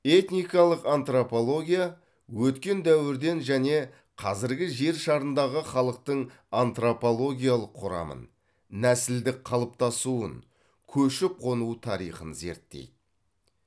этникалық антропология өткен дәуірден және қазіргі жер шарындағы халықтың антропологиялық құрамын нәсілдік қалыптасуын көшіп қону тарихын зерттейді